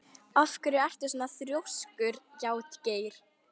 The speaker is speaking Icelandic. Af hverju ertu svona þrjóskur, Játgeir?